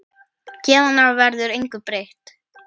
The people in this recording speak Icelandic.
Héðan af verður engu breytt.